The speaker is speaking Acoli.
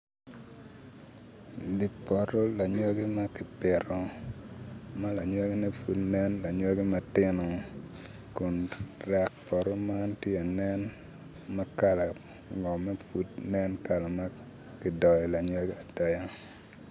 Di poto lanyogi ma ki pito ma lanogine pud nen lanyogi matino kun rek poto man ti anen ma kala ngomme pud nen kala ma kidoyo lanyogi adoya.